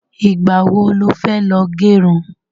Ìgbà wo lo fẹ́ lọ gẹrun?